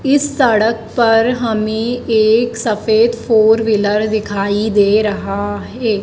इस सड़क पर हमें एक सफेद फोर व्हीलर दिखाई दे रहा है।